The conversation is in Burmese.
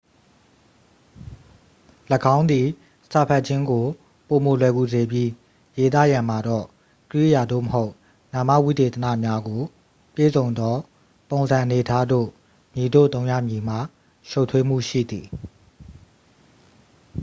၎င်းသည် စာဖတ်ခြင်းကို ပိုမိုလွယ်ကူစေပြီး ရေးသားရန်မှာတော့ ကြိယာ သို့မဟုတ် နာမဝိသေသနများကို ပြည့်စုံသော ပုံစံအနေအထားသို့ မည်သို့သုံးရမည်မှာ ရှုပ်ထွေးမှုရှိသည်